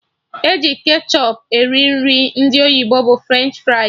Eji ketchọp eri Nri ndị oyibo bụ French fries